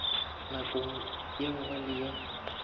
nakong ye nngwe le ye